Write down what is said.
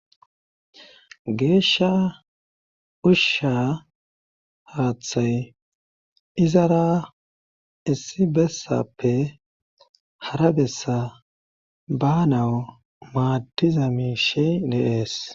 Geeshsha ushsha haththay izara issi bessappe hara bessa banawu maaddiza miishe de'es